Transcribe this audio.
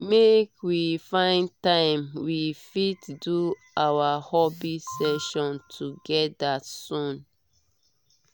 make we find time we fit do our hobby session together soon